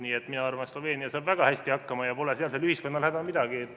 Nii et mina arvan, et Sloveenia saab väga hästi hakkama ja pole sealsel ühiskonnal häda midagi.